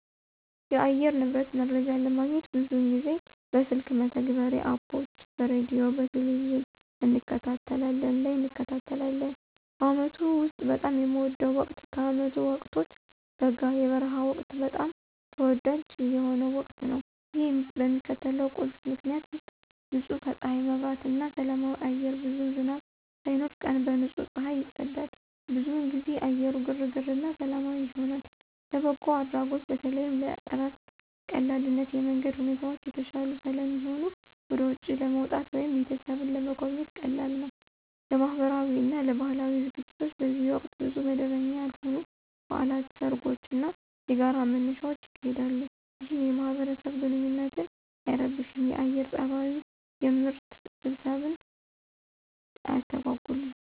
የአየር ንብረት መረጃ ለማግኘት ብዙውን ጊዜ በስልክ መተግበሪያዎች (Apps) በሬዲዮ፣ በቴሊቪዥን እንከታተላለን ላይ እንከታተላለን። በአመቱ ውስጥ በጣም የሚወደው ወቅት ከዓመቱ ወቅቶች በጋ (የበረሃ ወቅት) በጣም ተወዳጅ የሆነው ወቅት ነው። ይህ በሚከተሉት ቁልፍ ምክንያቶች ውሰጥ · ንጹህ ከፀሐይ መብራት እና ሰላማዊ አየር ብዙም ዝናብ ሳይኖር፣ ቀን በንጹህ ፀሐይ ይጸዳል። ብዙውን ጊዜ አየሩ ግርግር እና ሰላማዊ ይሆናል። · ለበጎ አድራጎት በተለይም ለእረፍት ቀላልነት የመንገድ ሁኔታዎች የተሻሉ ስለሚሆኑ ወደ ውጪ ለመውጣት ወይም ቤተሰብን ለመጎብኘት ቀላል ነው። · ለማህበራዊ እና ለባህላዊ ዝግጅቶች በዚህ ወቅት ብዙ መደበኛ ያልሆኑ በዓላት፣ ሰርጎች እና የጋራ መነሻዎች ይካሄዳሉ፣ ይህም የማህበረሰብ ግንኙነትን አይረብሽም የአየር ፀባዩ። የምርት ስብሰባን አያስተጎጉልም።